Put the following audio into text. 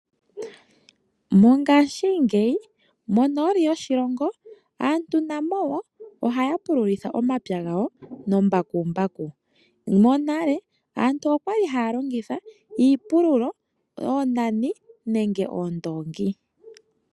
Mongashingeyi monooli yoshilongo aantu namo wo ohaya pululitha omapya gawo nombakumbaku. Monale aantu okwali haya longitha iipululo, oonani nenge oondoongi.